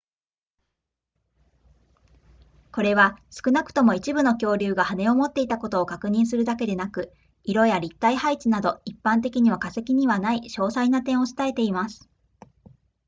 これは少なくとも一部の恐竜が羽を持っていたことを確認するだけでなく色や立体配置など一般的には化石にはない詳細な点を伝えています